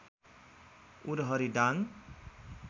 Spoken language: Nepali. उरहरी दाङ